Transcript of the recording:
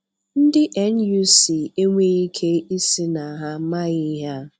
Ndị NUC enweghị ike ịsị na ha amaghị ihe a.